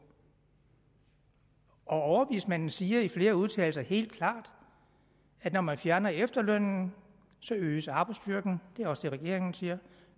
og overvismanden siger i flere udtalelser helt klart at når man fjerner efterlønnen øges arbejdsstyrken det er også det regeringen siger og